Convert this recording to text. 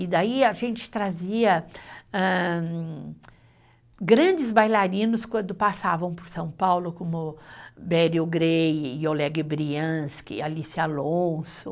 E daí a gente trazia âh, grandes bailarinos quando passavam por São Paulo, como, Alice Alonso.